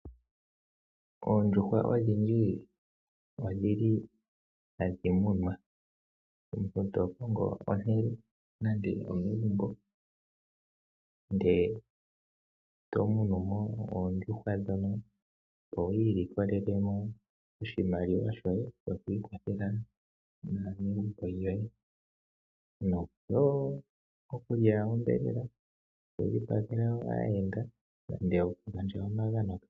Oondjuhwa odhindji ohadhi munwa. Omuntu to kongo ehala nande omegumbo, e to munu oondjuhwa dhoye, opo wi ilikolele mo oshimaliwa shoku ikwathela naanegumbo lyoye, noshowo okulya onyama, okudhipagela aayenda nenge okugandja omagano.